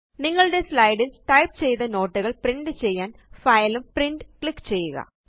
നിങ്ങളുടെ സ്ലയ്ടിൽ ടൈപ്പ് ചെയ്ത നോട്ടുകൾ പ്രിന്റ് ചെയ്യാൻ ഫൈൽ ഉം പ്രിന്റ് ക്ലിക്ക് ചെയ്യുക